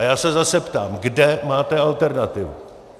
A já se zase ptám: Kde máte alternativu?